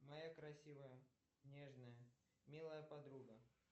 моя красивая нежная милая подруга